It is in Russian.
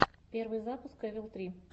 первый выпуск эвил три